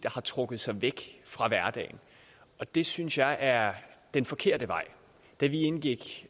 har trukket sig væk fra hverdagen det synes jeg er den forkerte vej da vi indgik